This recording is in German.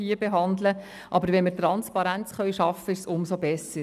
Wenn wir damit Transparenz schaffen können, ist das umso besser.